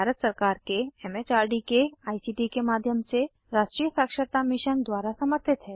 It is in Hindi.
यह भारत सरकार के एम एच आर डी के आई सी टी के माध्यम से राष्ट्रीय साक्षरता मिशन द्वारा समर्थित है